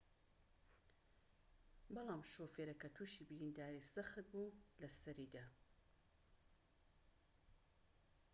بەڵام شۆفێرەکە توشی برینداریی سەخت بوو لە سەریدا